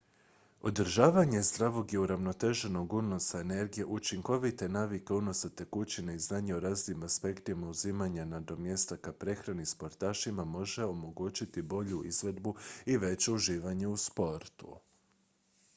održavanje zdravog i uravnoteženog unosa energije učinkovite navike unosa tekućine i znanje o raznim aspektima uzimanja nadomjestaka prehrani sportašima može omogućiti bolju izvedbu i veće uživanje u sportu